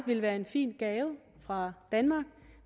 ville være en fin gave fra danmark